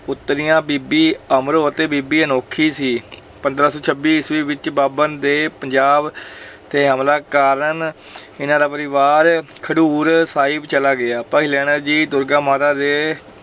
ਪੁੱਤਰੀਆਂ, ਬੀਬੀ ਅਮਰੋ ਅਤੇ ਬੀਬੀ ਅਨੋਖੀ ਸੀ ਪੰਦਰੋਂ ਸੌ ਛੱਬੀ ਈਸਵੀ ਵਿੱਚ ਬਾਬਰ ਦੇ ਪੰਜਾਬ ਤੇ ਹਮਲਾ ਕਾਰਨ ਇਹਨਾਂ ਦਾ ਪਰਿਵਾਰ ਖਡੂਰ ਸਾਹਿਬ ਚਲਾ ਗਿਆ, ਭਾਈ ਲਹਿਣਾ ਜੀ ਦੁਰਗਾ ਮਾਤਾ ਦੇ